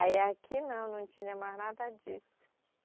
Aí aqui não, não tinha mais nada disso.